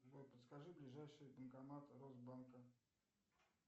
джой подскажи ближайший банкомат росбанка